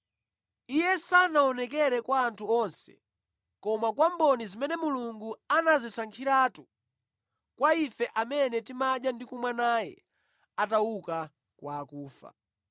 Iye sanaonekere kwa anthu onse koma kwa mboni zimene Mulungu anazisankhiratu, kwa ife amene timadya ndi kumwa naye atauka kwa akufa.